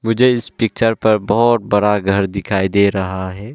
मुझे इस पिक्चर पर बहोत बड़ा घर दिखाई दे रहा हैं।